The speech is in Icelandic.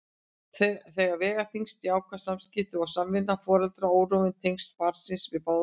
Þar vega þyngst jákvæð samskipti og samvinna foreldra og órofin tengsl barnsins við báða foreldra.